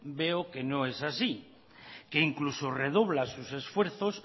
veo que no es así que incluso redobla sus esfuerzos